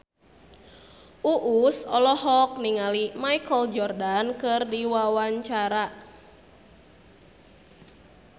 Uus olohok ningali Michael Jordan keur diwawancara